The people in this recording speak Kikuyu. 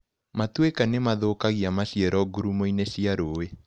Matuĩka nĩmathũkagia maciaro ngurumoinĩ cia rũĩ.